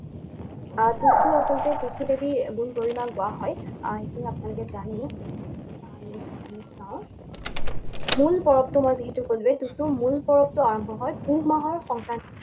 আৰু টুচু আচলতে টুচু দেৱীৰ গুণ গৰিমা গোৱা হয়। সেইখিনি আপোনালোকে জানেই। আহ next আমি চাওঁ, হম মূল পৰৱটো মই যিহেতু কলোৱেই, টুচুৰ মূল পৰৱটো আৰম্ভ হয় পুহ মাহৰ সংক্ৰান্তি